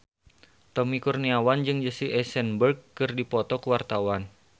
Tommy Kurniawan jeung Jesse Eisenberg keur dipoto ku wartawan